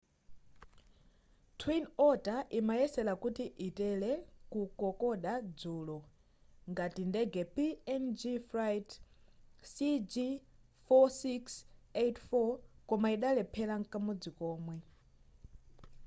twin otter imayesera kuti itere ku kokoda dzulo ngati ndege png flight cg4684 koma idalephera mkamodzi komwe